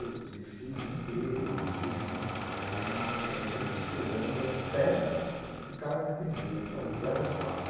E fiquei o dia inteiro em jejum, né, aquela coisa, sem comer, esperando até o cara me atender, o tal de Kleber Papa.